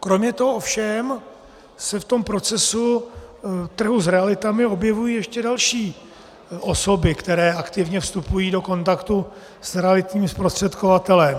Kromě toho ovšem se v tom procesu trhu s realitami objevují ještě další osoby, které aktivně vstupují do kontaktu s realitním zprostředkovatelem.